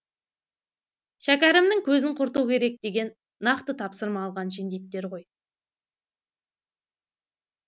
шәкәрімнің көзін құрту керек деген нақты тапсырма алған жендеттер ғой